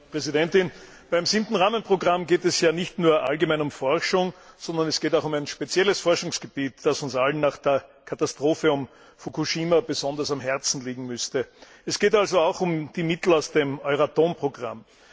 Frau Präsidentin! Beim 7. Forschungsrahmenprogramm geht es ja nicht nur allgemein um Forschung, sondern es geht auch um ein spezielles Forschungsgebiet, das uns allen nach der Katastrophe von Fukushima besonders am Herzen liegen müsste. Es geht auch um die Mittel aus dem Euratom Programm.